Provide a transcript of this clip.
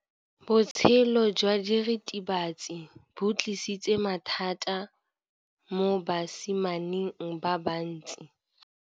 Botshelo jwa diritibatsi ke bo tlisitse mathata mo basimaneng ba bantsi.